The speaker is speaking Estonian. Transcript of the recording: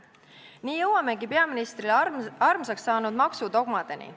Nii jõuamegi peaministrile armsaks saanud maksudogmadeni.